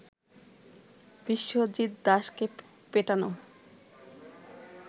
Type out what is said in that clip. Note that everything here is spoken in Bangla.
বিশ্বজিৎ দাসকে পেটানো